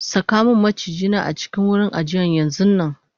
sakamun maciji na a cikin wurin ajiyan yanxunnanm